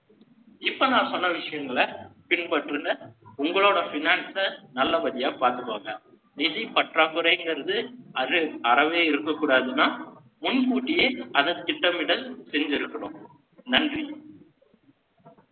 இப்ப நான் சொன்ன விஷயங்கள பின்பற்றுங்க. உங்களோட finance அ நல்லபடியா பாத்துக்கோங்க. நிதி பற்றாக்குறைங்கறது அறவே இருக்கக்கூடாதுன்னா, முன் கூட்டியே அதன் திட்டமிடல் செஞ்சிருக்கணும். நன்றி